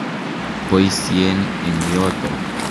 Poisyen eng' yotok.